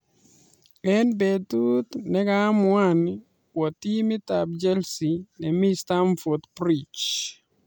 Eng betuut negaamuan kwa timit ab chelsii ne mii starmford bridge